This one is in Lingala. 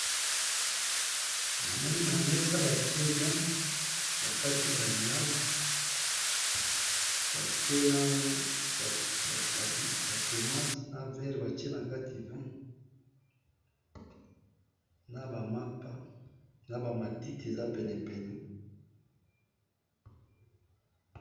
Namoni na mesa batiye ba vino, nakati ba lilala batiye na ba tomates na Mapa a ba matiti eza penepene.